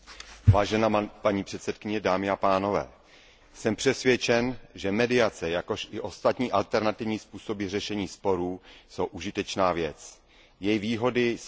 Paní předsedající, jsem přesvědčen, že mediace, jakož i ostatní alternativní způsoby řešení sporů jsou užitečná věc. Její výhody jsou nesporné.